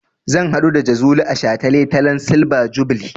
Zan haɗu da Jazuli a shataletalen silver jubilee.